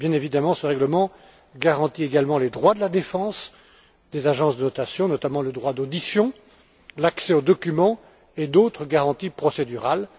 Bien évidemment, ce règlement garantit également les droits de la défense des agences de notation, notamment le droit d'audition, l'accès aux documents et d'autres garanties procédurales.